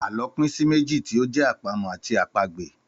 Àlọ́ pín sí méjì tí ó jẹ́ àpamọ̀ àti àpagbè.